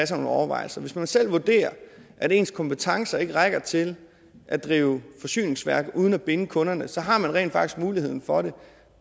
sig nogle overvejelser hvis man selv vurderer at ens kompetencer ikke rækker til at drive et forsyningsværk uden at binde kunderne så har man rent faktisk muligheden for det